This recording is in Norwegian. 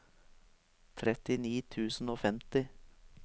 trettini tusen og femti